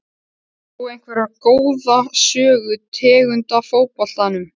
Átt þú einhverja góða sögu tengda fótboltanum?